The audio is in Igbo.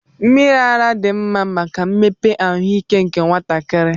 Mmiri ara dị mma maka mmepe ahụike nke nwatakịrị.